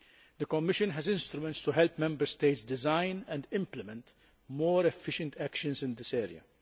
The Commission has instruments to help Member States design and implement more efficient actions in this area.